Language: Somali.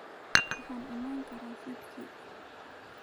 Waxaan iman karaa fiidkii.